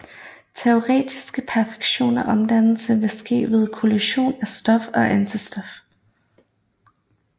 Teoretisk perfekt omdannelse ville ske ved kollision af stof og antistof